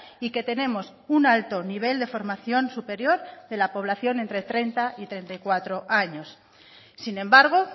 y que tenemos un alto nivel de formación superior de la población entre treinta y treinta y cuatro años sin embargo